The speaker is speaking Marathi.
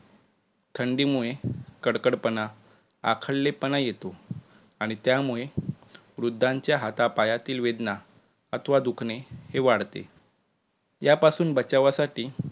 थंडीमुळे कडकडपणा आखडलेपणा येतो आणि त्यामुळे वृद्धांचे हातापायातील वेदना अथवा दुखणे हे वाढते. यापासून बचावासाठी